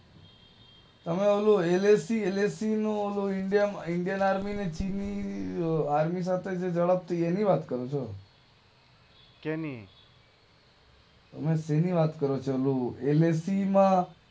તમે ઓલું LAC LAC નું ઓલું ઇન્ડિયન આર્મી નું ચીની આર્મી સાથે જે લડત થઇ એની વાત કરો છો? સેની? તમે સેની વાત કરો છો? એલએસી માં